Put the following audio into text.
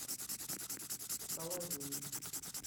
соловей